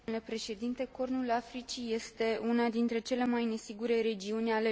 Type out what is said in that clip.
Cornul Africii este una dintre cele mai nesigure regiuni ale lumii.